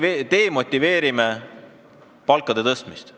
Me demotiveerime palkade tõstmist.